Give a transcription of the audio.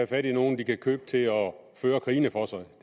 fat i nogen de kan købe til at føre krigene for sig